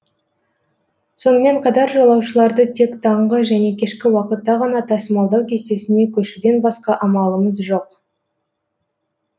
сонымен қатар жолаушыларды тек таңғы және кешкі уақытта ғана тасымалдау кестесіне көшуден басқа амалымыз жоқ